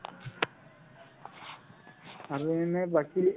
আৰু এনে বাকি